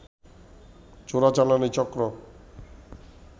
চোরাচালানি চক্র